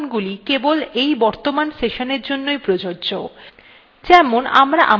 কিন্তু একটি জিনিস মনে রাখবেন যে এই পরিবর্তনগুলি কেবল এই বর্তমান sessionএর জন্য প্রযোজ্য